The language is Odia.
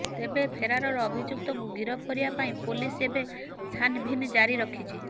ତେବେ ଫେରାର ଅଭିଯୁକ୍ତଙ୍କୁ ଗିରଫ କରିବା ପାଇଁ ପୋଲିସ ଏବେ ଛାନଭିନ୍ ଜାରି ରଖିଛି